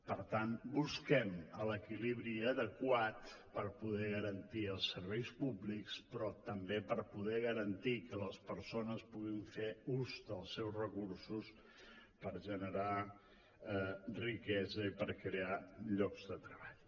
per tant busquem l’equilibri adequat per poder garantir els serveis públics però també per poder garantir que les persones puguin fer ús dels seus recursos per generar riquesa i per crear llocs de treball